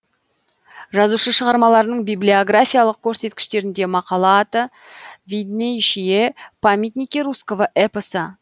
жазушы шығармаларының библиографиялық көрсеткіштерінде мақала аты виднейшие памятники русского эпоса деп қате жіберілген